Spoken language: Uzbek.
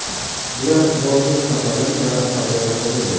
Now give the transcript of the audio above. Bular Nozim Safari va Sardor Komilov.